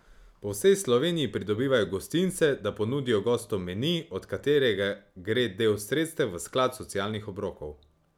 Po vsej Sloveniji pridobivajo gostince, da ponudijo gostom meni, od katerega gre del sredstev v sklad socialnih obrokov.